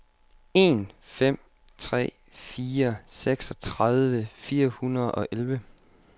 en fem tre fire seksogtredive fire hundrede og elleve